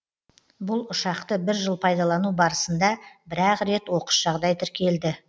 бұл ұшақты бір жыл пайдалану барысында бір ақ рет оқыс жағдай тіркелді